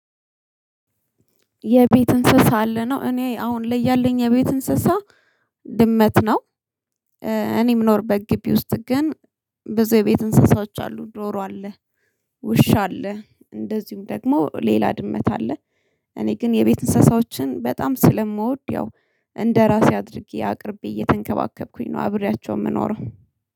የቤት እንስሳ አለ ነው እኔ አሁን ላይ ያለኝ የቤት እንስሳ ድመት ነው። እኔ የምኖርበት ግቢ ውስጥ ግን ብዙ የቤት እንስሳዎች አሉ ዶሮ አለ ውሻ አለ እንደዚሁም ደግሞ ሌላ ድመት አለ። እኔ ግን የቤት እንስሳዎችን በጣም ስለምወድ ያው እንደራሴ አድርጌ አቅርቤ እየተንከባከብኩኝ ነው አብሬያቸው የምኖረው